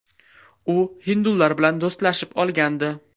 U hindular bilan do‘stlashib olgandi.